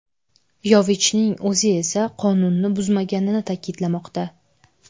Yovichning o‘zi esa qonunni buzmaganini ta’kidlamoqda.